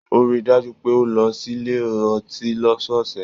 O ríi dájú pé o lọ sílé ọtí lọ́sọọsẹ̀.